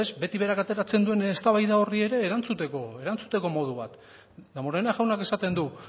beti berak ateratzen duen eztabaida horri ere erantzuteko modu bat damborenea jaunak esaten du